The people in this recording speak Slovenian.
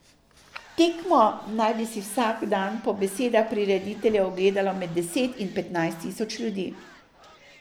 Tekmo naj bi si vsak dan po besedah prirediteljev ogledalo med deset in petnajst tisoč ljudi.